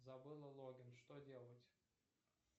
забыла логин что делать